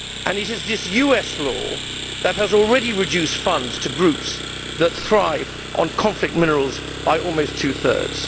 It is this US law that has already reduced funds to groups that thrive on conflict minerals by almost two thirds.